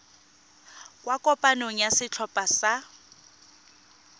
kwa kopanong ya setlhopha sa